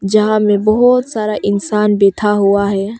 यहाँ में बहोत सारा इंसान बैठा हुआ है।